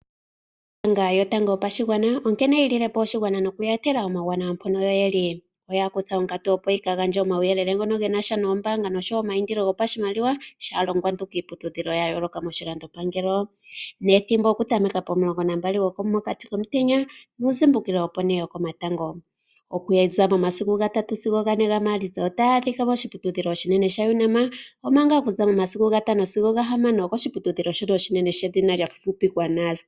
Ombaanga yotango yopashigwana onkene yi lilepo oshigwana noku ya etela omauwanawa mpono ye li . Oya kutha onkatu opo yi ka gandje omauyelele ngono ge nasha nombaanga nosho woo omayindilo gopashimaliwa shaalongwantu kiiputudhilo ya yooloka moshilando pangelo. Nethimbo oku tameka pomulongo nambali, gomokati komutenya nuuzimbukilo opo ne yokomatango. Okuza momasiku gatatu sigo gane gaMaalitsa , otaya adhika moshiputudhilo shinene sha UNAM, ompanga okuza momasiku gatano sigo gahamano okoshiputudhilo shono oshinene shedhina lya fupipikwa NUST.